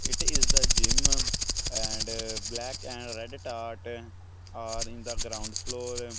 it is the gym and black and red art are in the ground floor.